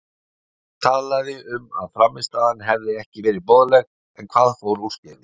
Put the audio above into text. Gunnlaugur talaði um að frammistaðan hefði ekki verið boðlegt, en hvað fór úrskeiðis?